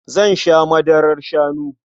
Zan sha madarar shanu.